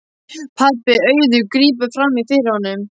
Pabbi Auðar grípur fram í fyrir honum.